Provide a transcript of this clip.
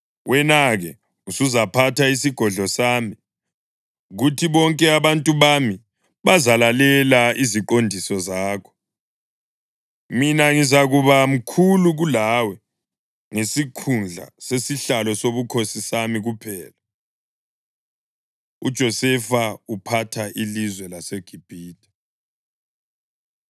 Wena-ke usuzaphatha isigodlo sami, kuthi bonke abantu bami bazalalela iziqondiso zakho. Mina ngizakuba mkhulu kulawe ngesikhundla sesihlalo sobukhosi sami kuphela.” UJosefa Uphatha Ilizwe LaseGibhithe